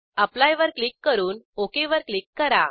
apply वर click करून okay वर क्लिक करा